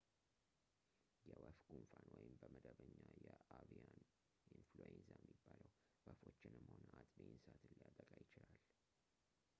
የወፍ ጉንፋን ወይም በመደበኛ የአቪያን ኢንፍሉዌንዛ የሚባለው ወፎችንም ሆነ አጥቢ እንስሳትን ሊያጠቃ ይችላል